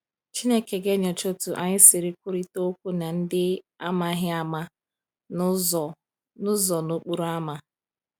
Chineke ga-enyocha otu anyị siri kwurịta okwu na ndị a maghị ama n’ụzọ n’ụzọ n’okporo ámá.